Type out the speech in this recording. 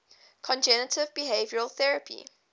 cognitive behavioral therapy